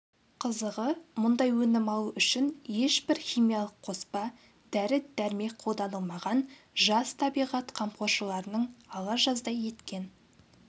қызығы мұндай өнім алу үшін ешбір химиялық қоспа дәрі-дәрмек қолданылмаған жас табиғат қамқоршыларының ала жаздай еткен